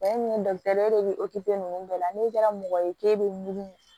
min ye e de be nunnu bɛɛ la n'e kɛra mɔgɔ ye k'e bɛ mugu